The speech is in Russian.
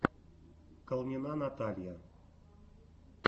калнина наталья